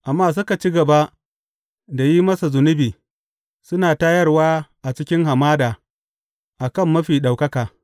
Amma suka ci gaba da yin masa zunubi, suna tayarwa a cikin hamada a kan Mafi Ɗaukaka.